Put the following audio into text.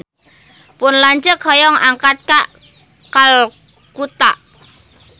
Pun lanceuk hoyong angkat ka Kalkuta